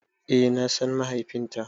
Eh na san mahaifinta.